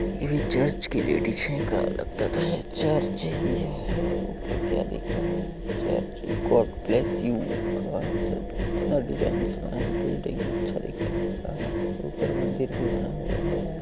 ये चर्च की लगता तो है चर्च ही है ऊपर क्या दिख रहा है? चर्च में गॉड ब्लेस यू लिखा है डिजाइन से बनाया बिल्डिंग अच्छा दिख रहा है सारा ऊपर मंदिर भी बना हुआ है।